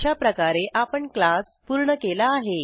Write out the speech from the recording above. अशाप्रकारे आपण क्लास पूर्ण केला आहे